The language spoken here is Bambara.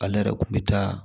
Ale yɛrɛ kun bɛ taa